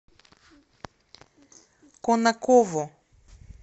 конаково